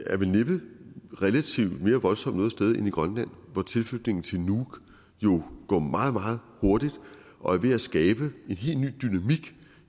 er vel næppe relativt mere voldsomt noget sted end i grønland hvor tilflytningen til nuuk jo går meget meget hurtigt og er ved at skabe en helt ny dynamik